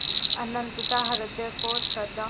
अनंतता हृदय को श्रद्धा